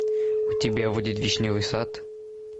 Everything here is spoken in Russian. у тебя будет вишневый сад